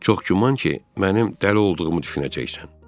Çox güman ki, mənim dəli olduğumu düşünəcəksən.